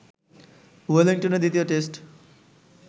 ওয়েলিংটনে দ্বিতীয় টেস্ট